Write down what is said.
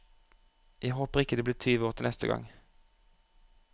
Jeg håper ikke det blir tyve år til neste gang.